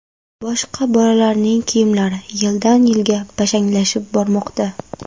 Boshqa bolalarning kiyimlari yildan-yilga bashanglashib bormoqda.